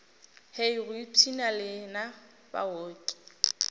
hei go ipshina lena baoki